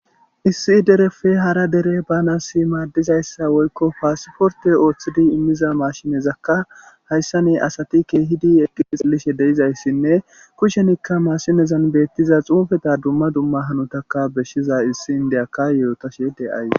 Issi dereppe hara dere baanaanassi maaddizayssa woykko ha pasporththe ooththidi immida maashinethakka hayssane asathi keehidi eqqiditseelishe de7izayssenne kushenikka maashinezan beeththida tsuufetha dumma dumma hanothakka beshshzayssa issi inddiyakka yothashe de7ay.